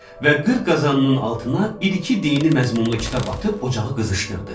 Və qır qazanının altına bir-iki dini məzmunlu kitab atıb ocağı qızışdırdı.